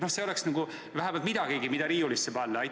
See oleks vähemalt midagigi, mida riiulisse panna?